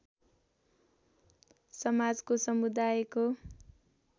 समाजको समुदायको